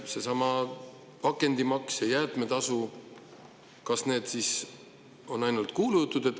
Seesama pakendimaks ja jäätmetasu – kas need on ainult kuulujutud?